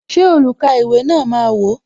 Ṣé olukaiwe na máa wò?